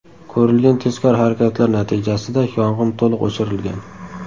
Ko‘rilgan tezkor harakatlar natijasida yong‘in to‘liq o‘chirilgan.